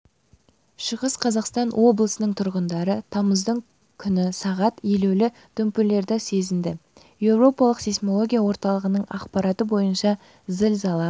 шығыс қазақстан облысының тұрғындары тамыздың күні сағат елеулі дүмпулерді сезінді еуропалық сейсмология орталығының ақпараты бойынша зілзала